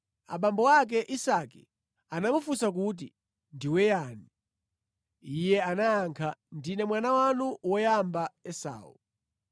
Abambo ake, Isake, anamufunsa kuti, “Ndiwe yani?” Iye anayankha, “Ndine mwana wanu woyamba Esau.”